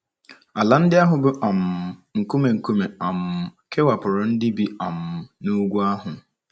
Ala ndị ahụ bụ́ um nkume nkume um kewapụrụ ndị bi um n’ugwu ndị ahụ.